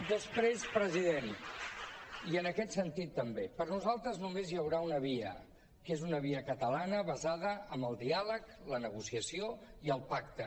després president i en aquest sentit també per nosaltres només hi haurà una via que és una via catalana basada en el diàleg la negociació i el pacte